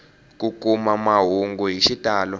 ku kuma mahungu hi xitalo